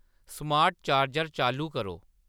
smart charger चालू करो